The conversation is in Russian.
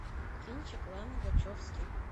кинчик ланы вачовски